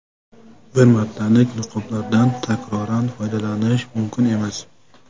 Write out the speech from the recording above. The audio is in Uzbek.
Bir martalik niqoblardan takroran foydalanish mumkin emas.